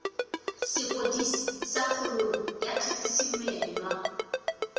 sepodisi sa kgololo ya kgatisomenwa